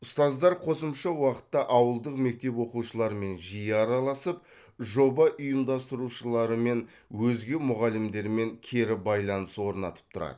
ұстаздар қосымша уақытта ауылдық мектеп оқушыларымен жиі араласып жоба ұйымдастырушылары мен өзге мұғалімдермен кері байланыс орнатып тұрады